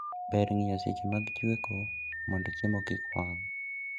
Ber ng'iyo seche mag chweko mondo chiemo kik wang'